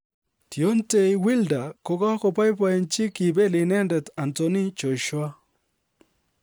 Deontay Wilder kogaboiboiyenchi kibel inendet Anthony Joshua